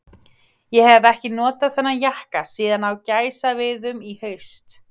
Ég hef ekki notað þennan jakka síðan á gæsaveiðum í haust.